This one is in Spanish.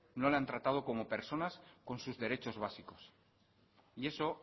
no le han tratado como personas con sus derechos básicos y eso